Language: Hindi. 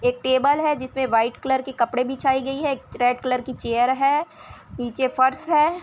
एक टेबल है जिसमें वाइट कलर की कपड़े बिछाई गयी है रेड कलर की चेयर है नीचे फर्श है।